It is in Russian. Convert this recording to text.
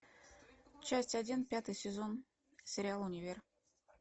часть один пятый сезон сериал универ